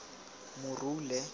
morule